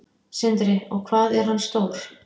Sindri: Og hvað er hann stór?